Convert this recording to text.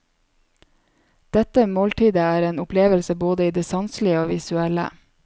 Dette måltidet er en opplevelse både i det sanselige og visuelle.